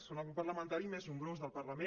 són el grup parlamentari més nombrós del parlament